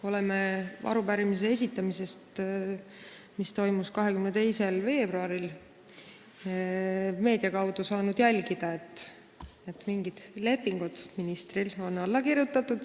Oleme pärast arupärimise esitamist, mis toimus 22. veebruaril, saanud meedia kaudu teada, et mingid lepingud on ministril alla kirjutatud.